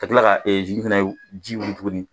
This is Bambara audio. Ka kila ka fɛnɛ ji wili tuguni.